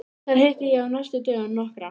Þar hitti ég á næstu dögum nokkra